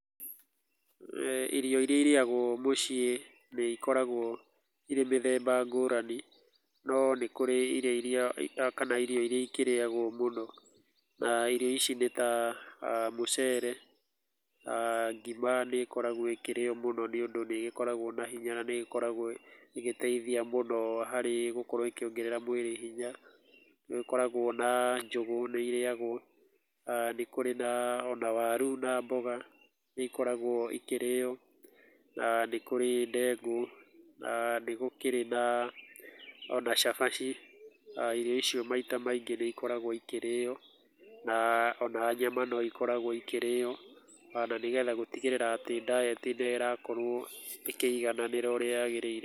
[eh]irĩo irĩa ĩrĩagwo mũciĩ nĩ ĩkoragwo irĩ mĩthemba ngũrani no nĩkũrĩ irĩo ĩrĩakana ĩrio ĩrĩagwo mũno, irĩo ĩcĩo nĩ ta mũcere , ngima nĩ ikoragwo ĩkĩrĩo mũno nĩ ũndũ nĩ ĩgĩkoragwo na hĩnya na nĩ ĩkoragwo ĩgĩteĩthĩa mũno harĩ gũkorwo ĩkongerera mwĩlĩ hĩnya nĩgũkoragwo na njũgũ nĩ irĩagwo, nĩgũkoragwo na warũ na mboga nĩ ĩkoragwo ĩkĩrĩo na nĩkũrĩ ndengũ na nĩgũkĩrĩ na ona cabaci irio icio maĩta maingĩ nĩ ĩkoragwo ikĩrĩo na ona nyama no ĩkoragwo ikĩrĩo tondũ nĩ getha gũtĩgĩrĩra atĩ diet nĩ ĩrakorwo ĩkĩigananĩra ũrĩa yagĩrĩire.